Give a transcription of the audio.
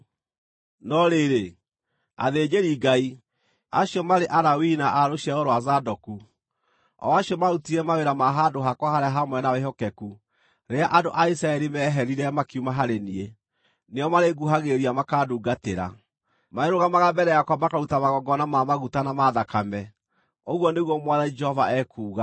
“ ‘No rĩrĩ, athĩnjĩri-Ngai, acio marĩ Alawii na a rũciaro rwa Zadoku, o acio maarutire mawĩra ma handũ-hakwa-harĩa-haamũre na wĩhokeku rĩrĩa andũ a Isiraeli meeherire makiuma harĩ niĩ, nĩo marĩnguhagĩrĩria makandungatĩra; marĩrũgamaga mbere yakwa makaruta magongona ma maguta na ma thakame, ũguo nĩguo Mwathani Jehova ekuuga.